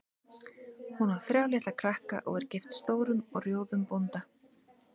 Hún á þrjá litla krakka og er gift stórum og rjóðum bónda.